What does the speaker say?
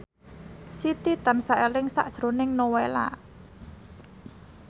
Siti tansah eling sakjroning Nowela